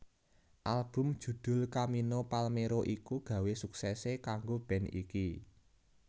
Album judhul Camino Palmero iku gawa suksesé kanggo band iki